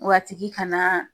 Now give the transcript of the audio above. Wa a tigi ka na